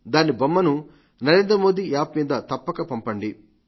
దాని బొమ్మను నరేంద్ర మోదీ యాప్ మీద తప్పక పంపండి